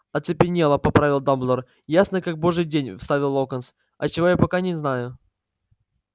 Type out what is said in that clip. оцепенела поправил дамблдор ясно как божий день вставил локонс от чего я пока не знаю